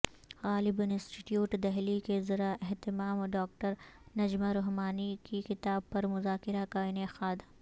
غالب institute Delhi کے زیراہتمام doctor Najma Rahmani کی کتاب پر مذاکرہ کا انعقاد